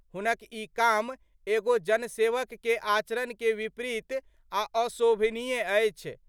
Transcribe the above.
हुनक ई काम एगो जनसेवक के आचरण के विपरीत आ अशोभनीय अछि।